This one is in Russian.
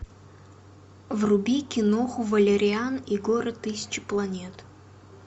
вруби киноху валериан и город тысячи планет